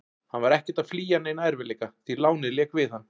Hann var ekkert að flýja neina erfiðleika, því lánið lék við hann.